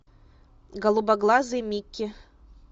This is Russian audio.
голубоглазый микки